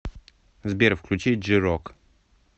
сбер включи джи рок